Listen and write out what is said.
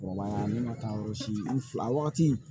Kɔrɔbaya ne ma taa yɔrɔ si n fila a wagati